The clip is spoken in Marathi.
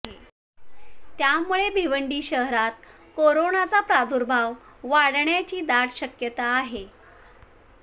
त्यामुळे भिवंडी शहरात कोरोनाचा प्रादुर्भाव वाढण्याची दाट शक्यता आहे